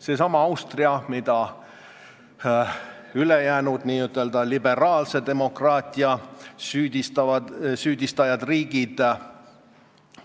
Seesama Austria, mida ülejäänud n-ö liberaalse demokraatia riigid